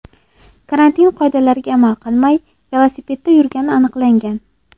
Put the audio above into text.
karantin qoidalariga rioya qilmay, velosipedda yurgani aniqlangan.